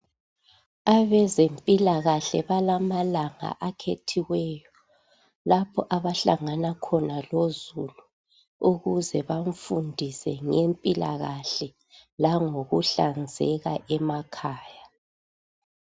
Abezempilakahle balamalanga akhethiweyo lapho abahlangana khona lozulu ukuze bamfundise ngempilakahle langokuhlanzeka emakhaya.